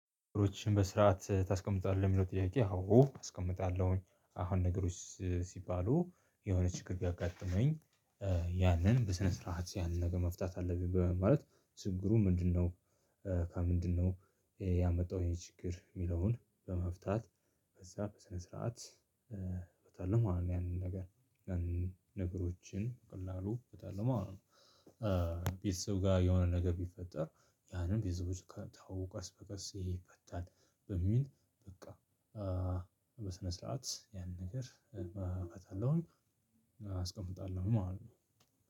እሱን በስርዓት ታስቀምጣለህ የሚለው ጥያቄ አዎ አስቀምጣለሁኝ አሁን ነገሮች ሲባሉ የሆነ ችግር ቢያጋጥመኝ ያንን በስነ ስርዓት ያንን ነገር መፍታት አለብኝ በማለት ችግሩ ምንድነው? ምንድነው ያመጣው ይሄ ችግር የሚለውን በመፍታት ከዛ በስነ ስርዓት በቃ አሁን ያንን ነገር ነገሮችን በቀላሉ እፈታለው ማለት ነው። ቤተሰብ ጋር የሆነ ነገር ቢፈጠር ያንን ቤተሰቦች ካወቁ ቀስ በቀስ ይፈታል። በሚል በቃ በስነ ስርዓት ያን ነገር እፈታለሁኝ። አስቀምጣለሁኝ ማለት ነው።